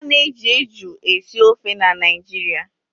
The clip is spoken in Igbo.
Ana eji eju esi ofe na Naịjirịa